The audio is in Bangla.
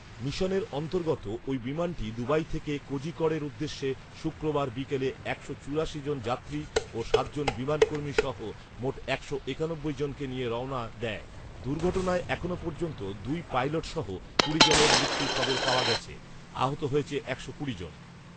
মিশনের অন্তর্গত ওই বিমানটি দুবাই থেকে কোজিকড় এর উদ্দেশে শুক্রবার বিকেলে একশো চুরাশি জন যাত্রী ও সাত জন বিমানকর্মী সহ মোট একশো একানব্বই জনকে নিয়ে রওনা দেয়৷ দুর্ঘটনায় এখনো পর্যন্ত দুই পাইলট সহ কুড়ি জনের মৃত্যুর খবর পাওয়া গেছে৷ আহত হয়েছে একশো কুড়ি জন৷